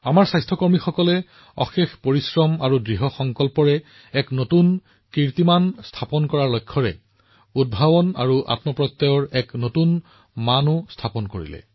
আমাৰ স্বাস্থ্য কৰ্মীসকলে তেওঁলোকৰ কঠোৰ পৰিশ্ৰম আৰু সংকল্পৰ দ্বাৰা এক নতুন উদাহৰণ প্ৰস্তুত কৰিছে উদ্ভাৱনৰ সৈতে তেওঁলোকৰ দৃঢ়সংকল্পৰ সৈতে মানৱতাৰ সেৱাৰ এক নতুন মানদণ্ড স্থাপন কৰিছে